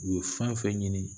U ye fɛn fɛn ɲini